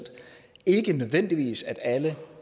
ikke nødvendigvis sådan at alle